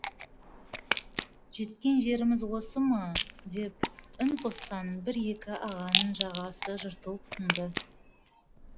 жеткен жеріміз осы ма деп үн қосқан бір екі ағаның жағасы жыртылып тынды